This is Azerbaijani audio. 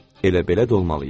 Elə belə də olmalı idi.